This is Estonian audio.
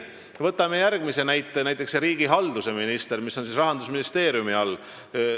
Võtame järgmise näite: riigihalduse minister, kes on Rahandusministeeriumi all.